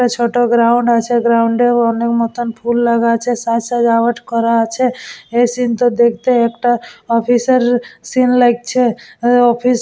ছোট গ্রাউন্ড আছে গ্রাউন্ড -এ মনের মতো ফুল লাগা আছে সাজ সাজাওয়াত করা আছে এই সিন -টা দেখতে একটা অফিস -এর এই সিন লাগছে ওই অফিস --